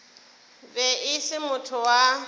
be e se motho wa